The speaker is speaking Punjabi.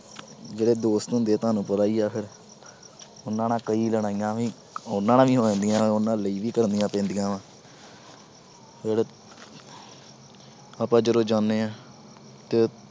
ਜਿਹੜੇ ਦੋਸਤ ਹੁੰਦੇ ਆ ਤੁਹਾਨੂੰ ਪਤਾ ਈ ਆ ਫਿਰ ਉਹਨਾਂ ਨਾਲ ਕਈ ਲੜਾਈਆਂ ਵੀ ਉਹਨਾਂ ਨਾਲ ਹੀ ਹੋ ਜਾਂਦੀਆਂ, ਉਹਨਾਂ ਲਈ ਵੀ ਕਰਨੀਆਂ ਪੈਂਦੀਆਂ ਵਾ। ਫਿਰ ਆਪਾ ਜਦੋਂ ਜਾਂਦੇ ਆ ਤੇ